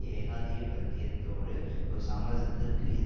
ஏகாதியபத்தியத்தோடு ஒரு சமரசத்திற்கு